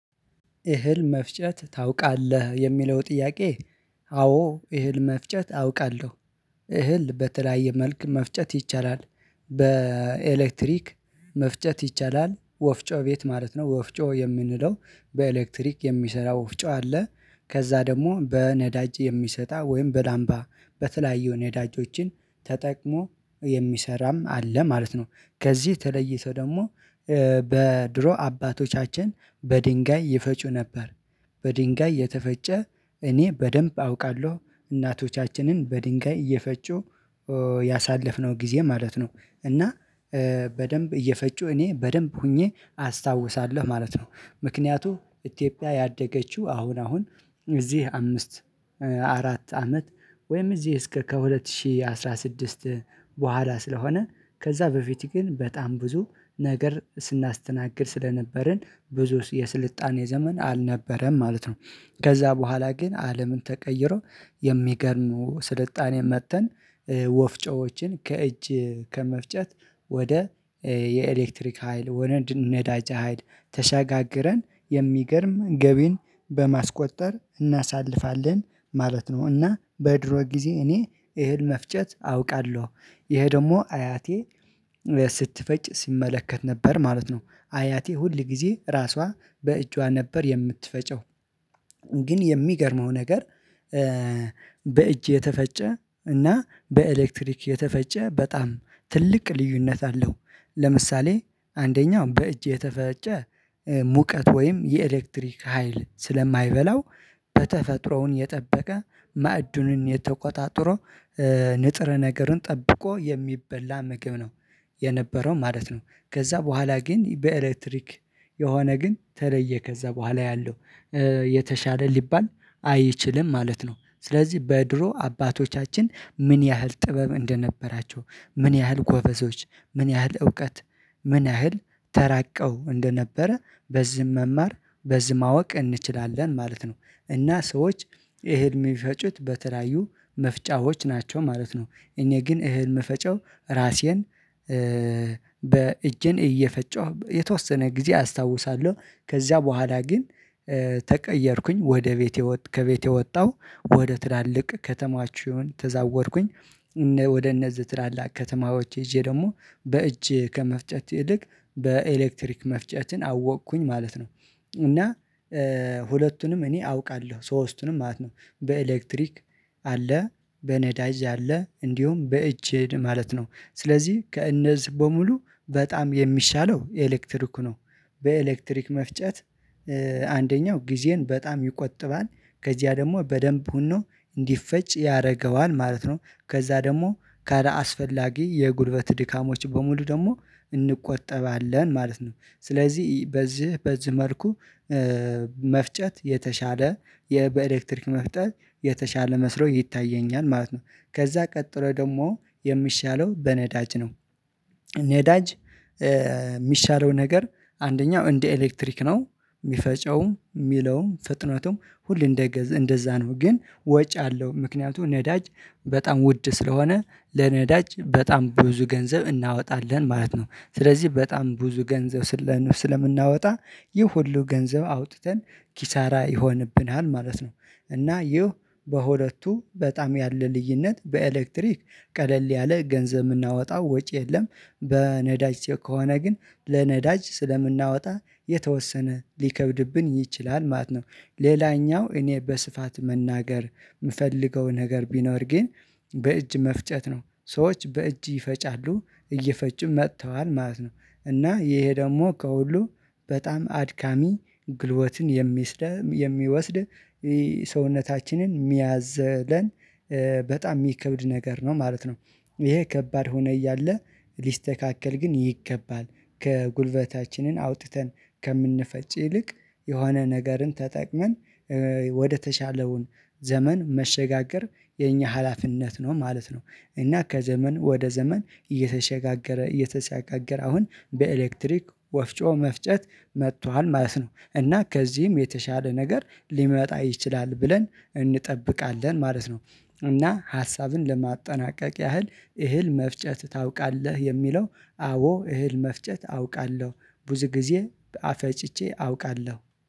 እህል መፍጨት ታውቃለህ የሚለው ጥያቄ አዎ እህል መፍጨት አውቃለሁ እህል በተለያየ መልኩ መፍጨት ይቻላል በኤሌክትሪክ መፍጨት ይቻላል ወፍጮ ቤት ማለት ነው ወፍጮ የምንለው በኤሌክትሪክ የሚሰራው ወፍጮ አለ ከዛ ደግሞ በነዳጅ የሚሰራ ወይም በዳምባ በተለያዩ ነዳጆችን ተጠቅሞ የሚሰራም አለ ማለት ነው ከዚህ የተለየ ሰው ደግሞ በድሮ አባቶቻችን በድንጋይ ይፈጩ ነበር በድንጋይ የተፈጨ እኔ በደንብ አውቃለሁ እናቶቻችንን በድንጋይ እየፈጩ ያሳለፍነው ጊዜ ማለት ነው እና በደንብ እየፈጩ እኔ በደንብ ሆኜ አስታውሳለሁ ማለት ነው። ምክንያቱ ኢትዮጵያ ያደገችው አሁን አሁን እዚህ አምስት አራት አመት ወይም እዚህ እስከ ከሁለት ሺህ አስራ ስድስት በኋላ ስለሆነ ከዛ በፊት ግን በጣም ብዙ ነገር ስናስተናግድ ስለነበርን ብዙስ የስልጣኔ ዘመን አልነበረም ማለት ነው። ከዛ በኋላ ግን አለምን ተቀይሮ የሚገርሙ ስልጣኔ መጥተን ወፍጮዎችን ከእጅ ከመፍጨት ወደ የኤሌክትሪክ ሀይል ወነድ ነዳጅ አይድ ተሻጋግረን የሚገርም ገቢን በማስቆጠር እናሳልፋለን ማለት ነው። እና በድሮ ጊዜ እኔ እህል መፍጨት አውቃለሁ ይሄ ደግሞ አያቴ ስትፈጭ ሲመለከት ነበር ማለት ነው አያቴ ሁል ጊዜ ራሷ በእጇ ነበር የምትፈጨው። ግን የሚገርመው ነገር በእጅ የተፈጨ እና በኤሌክትሪክ የተፈጨ በጣም ትልቅ ልዩነት አለው። ለምሳሌ አንደኛው በእጅ የተፈጨ ሙቀት ወይም የኤሌክትሪክ ሀይል ስለማይበላው በተፈጥሮውን የጠበቀ ማዕዱንን የተቆጣጥሮ ንጥር ነገርን ጠብቆ የሚበላ ምግብ ነው የነበረው ማለት ነው ከዛ በኋላ ግን በኤሌክትሪክ የሆነ ግን ተለየ ከዛ በኋላ ያለው የተሻለ ሊባል አይችልም ማለት ነው። ስለዚህ በድሮ አባቶቻችን ምን ያህል ጥበብ እንደነበራቸው ምን ያህል ጎበዞች ምን ያህል እውቀት ምን ያህል ተራቀው እንደነበረ በዚህም መማር በዚህ ማወቅ እንችላለን ማለት ነው። እና ሰዎች ይሄን የሚፈጩት በተራዩ መፍጫዎች ናቸው ማለት ነው። እኔ ግን እህል መፈጨው ራሴን በእጄን እየፈጨሁ የተወሰነ ጊዜ አስታውሳለሁ ከዚያ በኋላ ግን ተቀየርኩኝ ወደ ቤቴ ከቤቴ ወጣሁ ወደ ትላልቅ ከተሞችን ተዛወርኩኝ ወደ እነዚህ ትላላቅ ከተማዎች ይዤ ደግሞ በእጅ ከመፍጨት ይልቅ በኤሌክትሪክ መፍጨትን አወቅኩኝ ማለት ነው። እና ሁለቱንም እኔ አውቃለሁ ሶስቱንም ማለት ነው። በኤሌክትሪክ አለ፣ በነዳጅ አለ እንዲሁም በእጅ እድ ማለት ነው። ስለዚህ ከእነዚህ በሙሉ በጣም የሚሻለው ኤሌክትሪክ ነው በኤሌክትሪክ መፍጨት አንደኛው ጊዜን በጣም ይቆጥባል ከዚያ ደግሞ በደንብ ሆኖ እንዲፈጭ ያደርገዋል ማለት ነው ከዛ ደግሞ ካላስፈላጊ የጉልበት ድካሞች በሙሉ ደግሞ እንቆጠባለን ማለት ነው። ስለዚህ በዚህ በዚህ መልኩ መፍጨት የተሻለ በኤሌክትሪክ መፍጨት የተሻለ መስሎ ይታየኛል ማለት ነው። ከዛ ቀጥሎ ደግሞ የሚሻለው በነዳጅ ነው። ነዳጅ የሚሻለው ነገር አንደኛው እንደ ኤሌክትሪክ ነው። የሚፈጨውም የሚለውም ፍጥነቱም ሁሉ እንደዛ ነው። ግን ወጪ አለው ምክንያቱም ነዳጅ በጣም ውድ ስለሆነ ለነዳጅ በጣም ብዙ ገንዘብ እናወጣለን ማለት ነው። ስለዚህ በጣም ብዙ ገንዘብ ስለምናወጣ ይህ ሁሉ ገንዘብ አውጥተን ኪሳራ ይሆንብናል ማለት ነው። እና ይህ በሁለቱ በጣም ያለ ልዩነት በኤሌክትሪክ ቀለል ያለ ገንዘብ የምናወጣው ወጪ የለም በነዳጅ ከሆነ ግን ለነዳጅ ስለምናወጣ የተወሰነ ሊከብድብን ይችላል ማለት ነው። ሌላኛው እኔ በስፋት መናገር የምፈልገው ነገር ቢኖር ግን በእጅ መፍጨት ነው። ሰዎች በእጅ ይፈጫሉ እየፈጩ መጥተዋል ማለት ነው። እና ይሄ ደግሞ ከሁሉ በጣም አድካሚ ግልበትን የሚወስድ ሰውነታችንን የሚያዝለን በጣም የሚከብድ ነገር ነው ማለት ነው ይሄ ከባድ ሆነ እያለ ሊስተካከል ግን ይገባል ከጉልበታችንን አውጥተን ከምንፈጭ ይልቅ የሆነ ነገርን ተጠቅመን ወደተሻለውን ዘመን መሸጋገር የኛ ሀላፊነት ነው ማለት ነው እና ከዘመን ወደ ዘመን እየተሻገረ እየተሻገረ አሁን በኤሌክትሪክ ወፍጮ መፍጨት መጥቷል ማለት ነው። እና ከዚህም የተሻለ ነገር ሊመጣ ይችላል ብለን እንጠብቃለን ማለት ነው። እና ሀሳብን ለማጠናቀቅ ያህል እህል መፍጨት ታውቃለህ የሚለው አዎ እህል መፍጨት አውቃለሁ ብዙ ጊዜ ፈጭቼ አውቃለሁ።